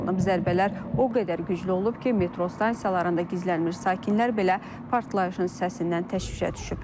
Zərbələr o qədər güclü olub ki, metro stansiyalarında gizlənmiş sakinlər belə partlayışın səsindən təşvişə düşüblər.